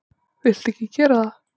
Viltu ekki gera það!